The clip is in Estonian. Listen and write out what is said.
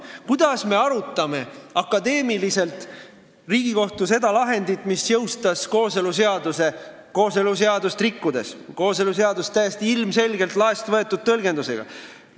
Ent kuidas me arutame akadeemiliselt Riigikohtu seda lahendit, mis jõustas kooseluseaduse kooseluseadust rikkudes, lähtudes kooseluseaduse täiesti ilmselgelt laest võetud tõlgendusest?